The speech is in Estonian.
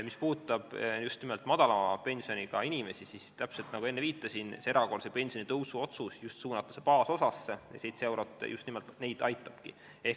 Mis puudutab just nimelt madalama pensioniga inimesi, siis nagu ma enne viitasin, see erakorralise pensionitõusu otsus on suunatud baasosa tõstmisele ja 7 eurot just nimelt neid aitabki.